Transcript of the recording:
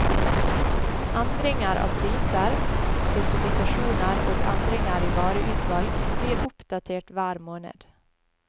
Endringer av priser, spesifikasjoner og endringer i vareutvalg blir oppdatert hver måned.